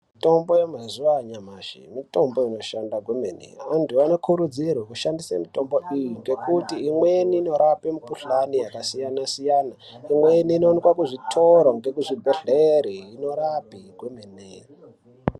Mitombo yanazuva anyamashi mitombo inoshanda kwemene antu anokurudzirwa kushandise mitombo ngekuti imweni inorape mukuhlani yakasiyana siyana imweni ino wanikwe muzvitoro nekuzvibhera kwemene.